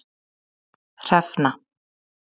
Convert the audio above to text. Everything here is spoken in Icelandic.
Hrefna